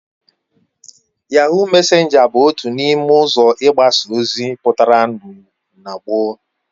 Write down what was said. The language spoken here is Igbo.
Yahoo mesenga bu otu n'ime uzo igbasa ozi putara na gboo